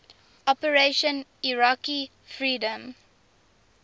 operation iraqi freedom